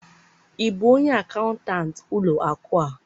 ị bụ onye akaụntantị ụlọ akụ a?